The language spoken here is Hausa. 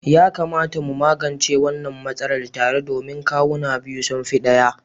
Ya kamata mu magance wannan matsalar tare domin kawuna biyu sun fi ɗaya.